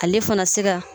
Ale fana se ka